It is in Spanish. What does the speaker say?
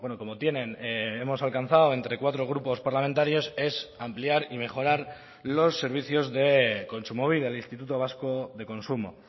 como tienen hemos alcanzado entre cuatro grupos parlamentarios es ampliar y mejorar los servicios de kontsumobide el instituto vasco de consumo